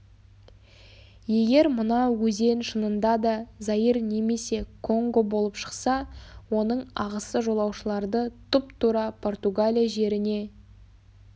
егер мына өзен шынында да заир немесе конго болып шықса оның ағысы жолаушыларды тұп-тура португалия жеріне